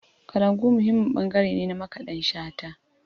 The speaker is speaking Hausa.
Kalangu muhimmin ɓangare ne na Makaɗan Shata.